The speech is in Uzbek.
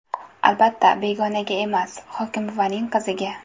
Albatta begonaga emas, hokimbuvaning qiziga .